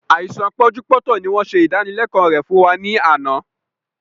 Àìsàn pọ́njú-pọ́ntọ̀ ni wọn ṣe ìdánilẹ̀kọ̀ rẹ fún wa ní àná